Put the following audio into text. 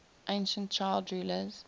ancient child rulers